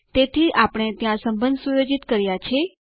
તેથી આપણે ત્યાં સંબંધ સુયોજિત કર્યું છે